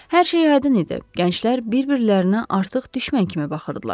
Hər şey hədin idi, gənclər bir-birlərinə artıq düşmən kimi baxırdılar.